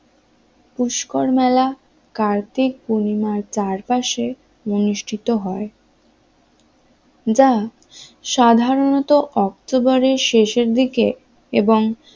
পুস্কর মেলা কার্তিক পূর্ণিমার চারপাশে অনুষ্ঠিত হয় যা সাধারণত অক্টোবরের শেষের দিকে এবং